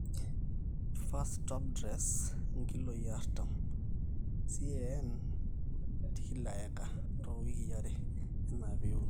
1st topdress nkilooi artam CAN/acre toowikii are enaa pee iun